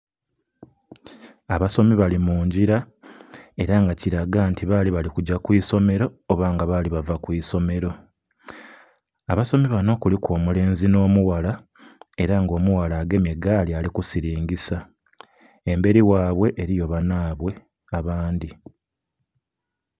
Abasomi bali mungila era nga kilaga nti bali bali kugya kwisomero oba nga bali bava kwisolero, abasomi banho kuliku omulenzi nho mughala era nga omughala agemye gaali ali kusilingisa emberi ghaibwe eriyo banhaibwe abandhi.